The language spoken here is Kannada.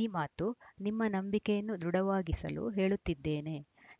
ಈ ಮಾತು ನಿಮ್ಮ ನಂಬಿಕೆಯನ್ನು ದೃಢವಾಗಿಸಲು ಹೇಳುತ್ತಿದ್ದೇನೆ